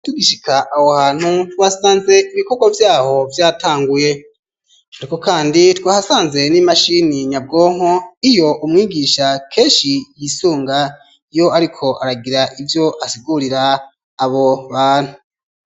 Tugishika aho hantu twasanze ibikokwa vyaho vyatanguye ariko kandi twahasanze n'imashini nyabwonko iyo umwigisha keshi yisunga iyo ariko aragira ivyo asigurira abo bantu